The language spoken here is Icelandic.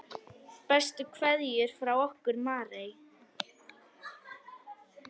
Bestu kveðjur frá okkur Marie.